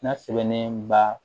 N'a sɛbɛnnen ba